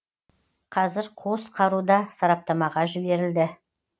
қазір қос қаруда сараптамаға жіберілді